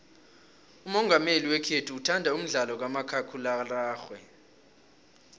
umongameli wekhethu uthanda umdlalo kamakhakhulararhwe